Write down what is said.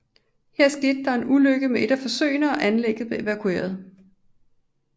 Her skete der en ulykke med et af forsøgene og anlægget blev evakueret